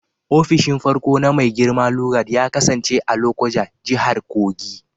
Ofishin farko na Mai girma Lugard ya kasance a Lokoja, Jihar Kogi.